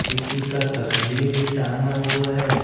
किसी का तस्वीर भी टांगा हुआ है।